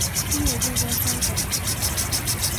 Iweku ke sait ata?